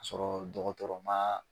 Sɔrɔ dɔgɔtɔrɔ ma.